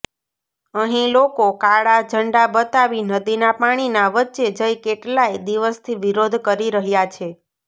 અહીં લોકો કાળા ઝંડા બતાવી નદીના પાણીના વચ્ચે જઈ કેટલાય દિવસથી વિરોધ કરી રહ્યા છે